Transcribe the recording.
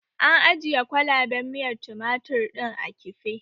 An ajiye kwalaɓen miyar tumatir ɗin a kife